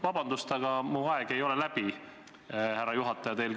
Vabandust, aga minu kella järgi aeg ei ole läbi, härra juhataja!